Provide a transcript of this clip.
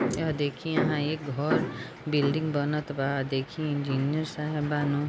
यह देखिए यहाँ एक घर बिल्डिंग बनत बा देखिए इंजीनियर साहेब बानु --